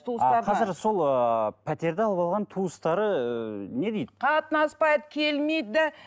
а қазір сол ыыы пәтерді алып алған туыстары не дейді қатынаспайды келмейді де